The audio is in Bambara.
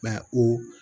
Mɛ o